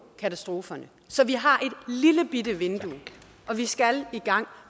katastroferne så vi har et lillebitte vindue og vi skal i gang